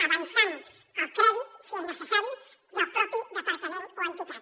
avançant el crèdit si és necessari del mateix departament o entitat